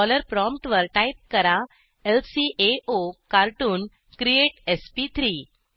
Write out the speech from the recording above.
dollar prompt वर type करा ल्काओकार्टून क्रिएट एसपी3